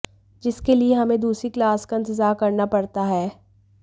जिसके लिए हमे दूसरी क्लास का इंतजार करना पड़ता है